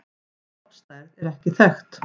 Stofnstærð er ekki þekkt.